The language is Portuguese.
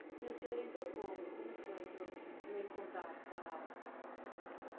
E o senhor entrou como? Como que foi o seu primeiro contato com a rádio?